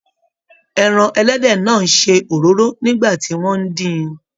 Ẹran ẹlẹ́dẹ̀ náà ń ṣe òróró nígbà tí wọ́n ń dín-in